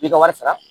I ka wari sara